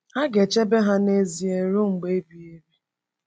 Ha ga-echebe ha n’ezie ruo mgbe ebighị ebi…